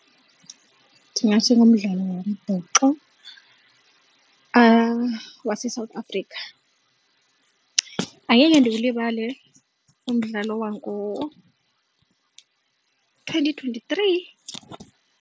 Ndingathi ngumdlalo wombhoxo waseSouth Africa, angeke ndiwulibale umdlalo wango-twenty twenty-three.